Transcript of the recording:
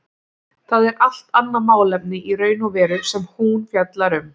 Það er allt annað málefni í raun og veru sem hún fjallar um.